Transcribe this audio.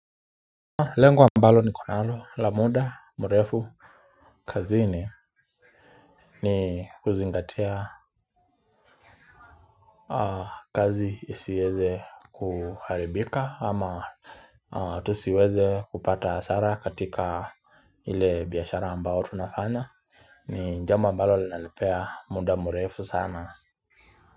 Lengo ambalo nikonalo la muda mrefu. Kazini, ni kuzingatia kazi isiweze kuharibika ama tusiweze kupata hasara katika ile biashara ambao tunafanya. Ni jambo ambalo linanipea muda murefu sana.